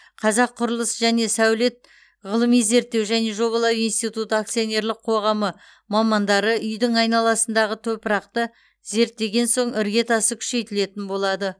қазақ құрылыс және сәулет ғылыми зерттеу және жобалау институты акционерлік қоғамы мамандары үйдің айналасындағы топырақты зерттеген соң іргетасы күшейтілетін болады